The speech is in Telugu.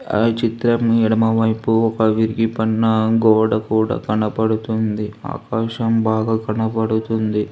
ఆ చిత్రం ఎడమ వైపు విరిగిపోయిన గోడ కూడా కనపడుతుంది ఆకాశం బాగా కనపడుతుంది.